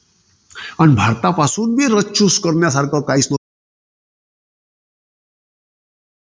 अन भारतापासून बी research करण्यासारखं काहीच नव्हतं.